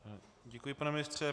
Děkuji, pane ministře.